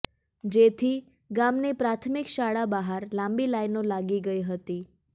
જેથી ગામની પ્રાથમિક શાળા બહાર લાંબી લાઈનો લાગી ગઈ હતી